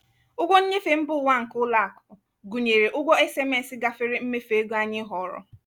ụgwọ nnyefe mba ụwa nke ụlọakụ gụnyere ụgwọ sms gafere mmefu ego anyị họọrọ.